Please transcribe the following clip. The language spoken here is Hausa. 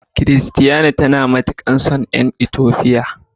Christiana tana matukar son yan "ethiopian".